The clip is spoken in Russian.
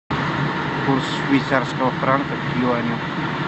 курс швейцарского франка к юаню